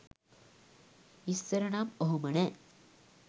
ඉස්සර නම් ඔහොම නැහැ.